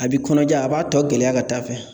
A bi kɔnɔja a b'a tɔ gɛlɛya ka taa'a fɛ.